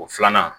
O filanan